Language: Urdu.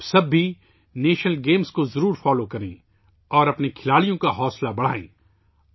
آپ سب بھی نیشنل گیمز کو ضرور فالو کریں اور اپنے کھلاڑیوں کی حوصلہ افزائی کریں